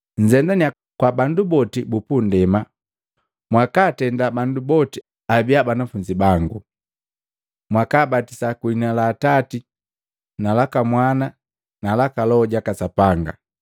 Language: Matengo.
Nzendania kwa bandu boti bupundema mwakaatenda bandu boti abia banafunzi bangu, mwakaabatisa kwiliina la Atati na laka Mwana na laka Loho jaka Sapanga,